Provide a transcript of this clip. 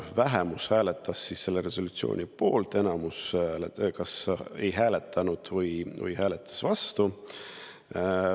Vähemus hääletas selle resolutsiooni poolt, enamus kas ei hääletanud või hääletas vastu.